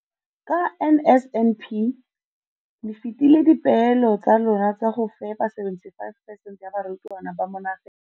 Ka NSNP le fetile dipeelo tsa lona tsa go fepa 75 percent ya barutwana ba mo nageng.